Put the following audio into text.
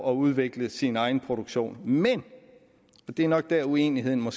at udvikle sin egen produktion men og det er nok der uenigheden